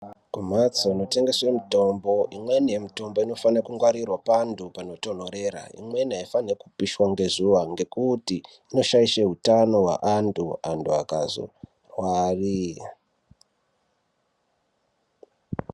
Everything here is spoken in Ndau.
Kumhatso inotengeswe mitombo imweni yemitombo inofanire kungwarirwa pandhu panotontorera imweni aifaniri kupishwa ngezuwa ngekuti inoshaishe utano hweanthu, anthu akazorware.